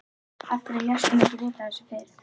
Af hverju léstu mig ekki vita af þessu fyrr?